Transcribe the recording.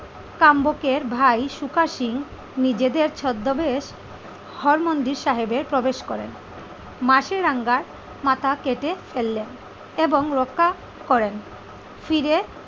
কামবুকের ভাই শুকা সিং নিজেদের ছদ্মবেশ হরমন্দির সাহেবের প্রবেশ করেন। মাসে আঙ্গার মাথা কেটে ফেললেন এবং রক্ষা করেন। ফিরে